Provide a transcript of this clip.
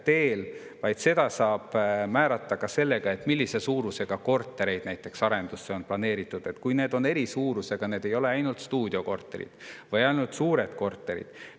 Seda saab näiteks ka sellega, millise suurusega kortereid arenduseks on planeeritud, oleks eri suurusega, ei oleks ainult stuudiokorterid või ainult suured korterid.